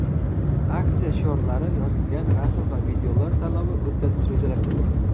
aksiya shiorlari yozilgan rasm va videolar tanlovi o‘tkazish rejalashtirilgan.